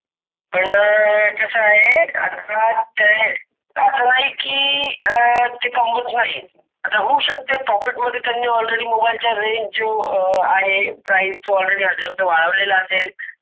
आण कसा आहे आताच अस नही कि अं ते कमावत नही. आता होऊ शकते Profit मधे त्यांनी AlreadyMobile चा Range जो अं आहे Prize वाढवलेला असेल.